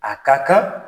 A ka kan